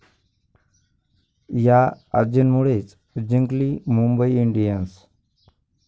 या' आजींमुळेच जिंकली मुंबई इंडियन्स?